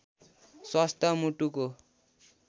स्वस्थ मुटुको